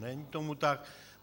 Není tomu tak?